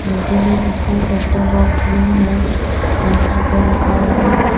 नीचे में उसका सेट टॉप बॉक्स भी है काउंटर पे रखा हुआ--